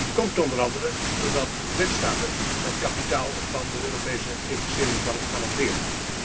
Die komt onder andere doordat lidstaten het kapitaal van de Europese Investeringsbank garanderen.